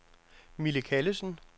Mille Callesen